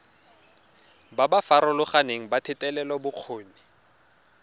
ba ba farologaneng ba thetelelobokgoni